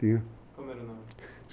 Tinha. Como era o nome?